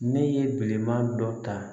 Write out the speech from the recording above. Ne ye bilenman dɔ ta